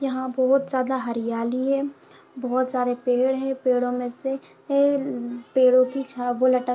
यहाँ बहुत ज्याद हरियाली है बहुत सारे पेड़ है पेड़ो में से एल पेड़ो की --